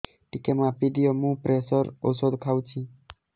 ଟିକେ ମାପିଦିଅ ମୁଁ ପ୍ରେସର ଔଷଧ ଖାଉଚି